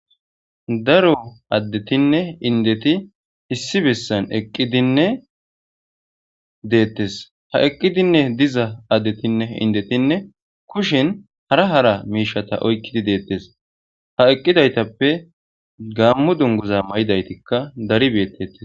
Daro addetinne indeti issi bessan eqqidinne deettes ha eqqidinne diza addetinne indetinne kushin hara hara miishata oykkidi deettes ha eqqidaytappe gaammu dunguza may7idaytikka daribeettettes